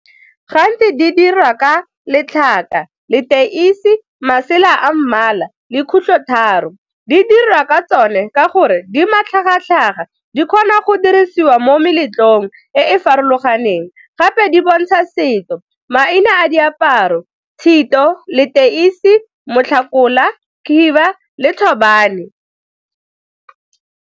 Gantsi di dirwa ka letlhaka, leteisi, masela a mmala le khutlhotharo. Di dirwa ka tsone ka gore di matlhagatlhaga, di kgona go dirisiwa mo meletlong e e farologaneng gape di bontsha setso, maina a diaparo, tshito, leteisi, motlhakola, khiba le thobane.